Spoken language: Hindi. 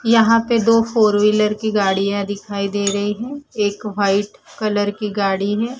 यहां पे दो फोर व्हीलर की गाड़ियां दिखाई दे रही हैं एक व्हाइट कलर की गाड़ी है।